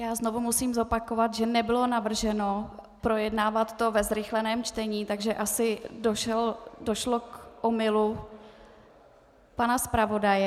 Já znovu musím zopakovat, že nebylo navrženo projednávat to ve zrychleném čtení, takže asi došlo k omylu pana zpravodaje.